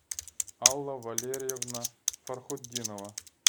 алла валерьевна фархутдинова